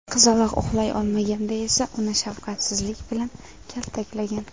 Qizaloq uxlay olmaganda esa uni shafqatsizlik bilan kaltaklagan.